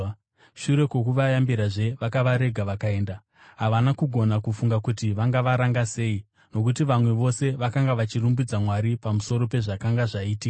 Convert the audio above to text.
Shure kwokuvayambirazve vakavarega vakaenda. Havana kugona kufunga kuti vangavaranga sei, nokuti vanhu vose vakanga vachirumbidza Mwari pamusoro pezvakanga zvaitika.